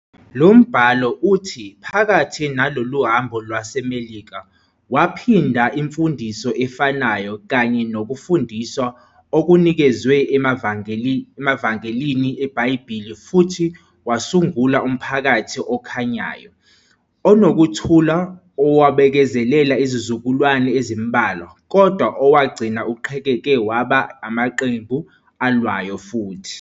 Lo mbhalo uthi phakathi nalolu hambo lwaseMelika, waphinda imfundiso efanayo kanye nokufundiswa okunikezwe emaVangelini eBhayibheli futhi wasungula umphakathi okhanyayo, onokuthula owabekezelela izizukulwane ezimbalwa, kodwa owagcina uqhekeke waba amaqembu alwayo futhi.